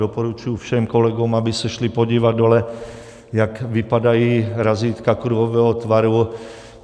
Doporučuji všem kolegům, aby se šli podívat dole, jak vypadají razítka kruhového tvaru.